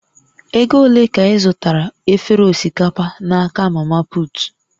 Ego ole ka ị zụtara efere osikapa n'aka mamaput?